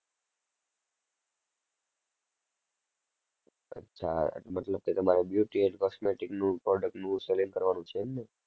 અચ્છા. મતલબ કે તમારે beauty and cosmetic નું product નું selling કરવાનું છે, એમ ને?